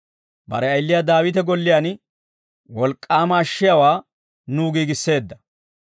Bare ayiliyaa Daawite golliyaan; wolk'k'aama ashshiyaawaa nuw giigisseedda.